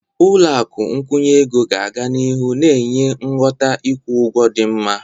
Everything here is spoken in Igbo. Ụlọ akụ nkwụnye ego ga-aga n'ihu na-enye ngwọta ịkwụ ụgwọ dị mma.